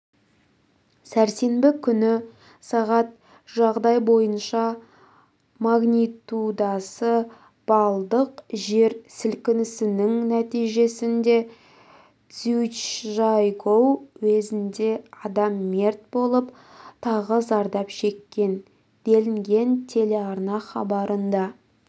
сәрсенбі күні сағат жағдай бойынша магнитудасы балдық жер сілкінісінің нәтижесінде цзючжайгоу уезінде адам мерт болып тағы зардап шеккен делінген телеарна хабарында